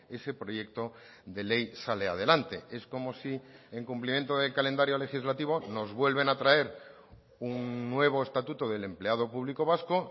ese proyecto de ley sale adelante es como si en cumplimiento del calendario legislativo nos vuelven a traer un nuevo estatuto del empleado público vasco